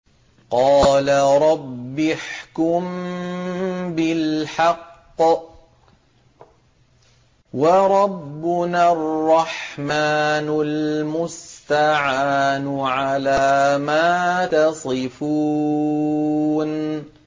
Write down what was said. قَالَ رَبِّ احْكُم بِالْحَقِّ ۗ وَرَبُّنَا الرَّحْمَٰنُ الْمُسْتَعَانُ عَلَىٰ مَا تَصِفُونَ